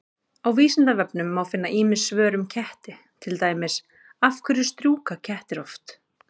Á Vísindavefnum má finna ýmis svör um ketti, til dæmis: Af hverju strjúka kettir oft?